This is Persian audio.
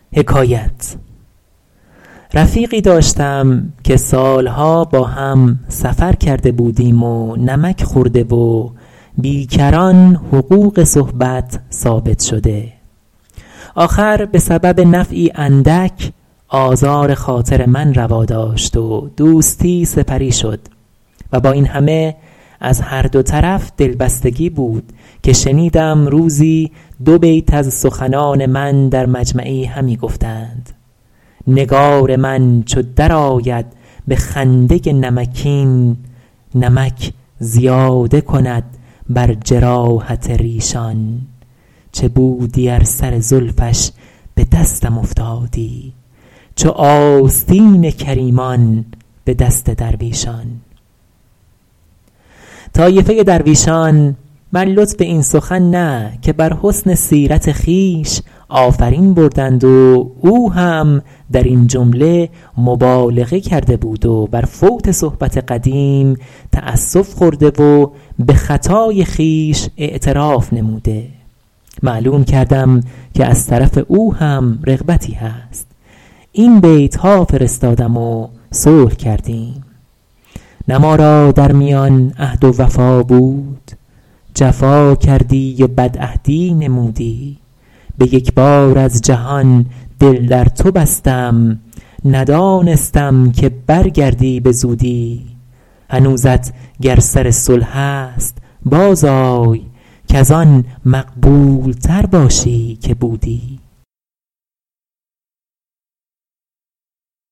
رفیقی داشتم که سالها با هم سفر کرده بودیم و نمک خورده و بی کران حقوق صحبت ثابت شده آخر به سبب نفعی اندک آزار خاطر من روا داشت و دوستی سپری شد و با این همه از هر دو طرف دلبستگی بود که شنیدم روزی دو بیت از سخنان من در مجمعی همی گفتند نگار من چو در آید به خنده نمکین نمک زیاده کند بر جراحت ریشان چه بودی ار سر زلفش به دستم افتادی چو آستین کریمان به دست درویشان طایفه درویشان بر لطف این سخن نه که بر حسن سیرت خویش آفرین بردند و او هم در این جمله مبالغه کرده بود و بر فوت صحبت قدیم تأسف خورده و به خطای خویش اعتراف نموده معلوم کردم که از طرف او هم رغبتی هست این بیتها فرستادم و صلح کردیم نه ما را در میان عهد و وفا بود جفا کردی و بدعهدی نمودی به یک بار از جهان دل در تو بستم ندانستم که برگردی به زودی هنوزت گر سر صلح است باز آی کز آن مقبول تر باشی که بودی